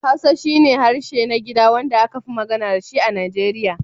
Hausa shi ne harshen na gida wanda aka fi magana da shi a Naijeriya.